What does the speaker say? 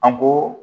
An ko